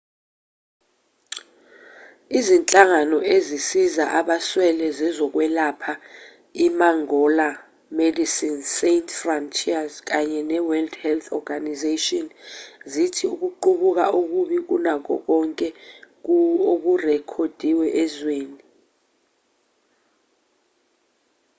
izinhlangano ezisiza abaswele zezokwelapha imangola imedecines sans frontieres kanye neworld health organisation zithi ukuqubuka okubi kunakho konke okurekhodiwe ezweni